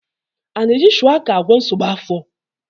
A na-eji shuwaka agwọ nsogbu afọ?